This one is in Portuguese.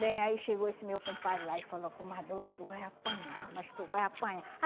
Bem, aí chegou esse meu compadre lá e falou, comadre, hoje tu vai apanhar, mas tu vai apanhar.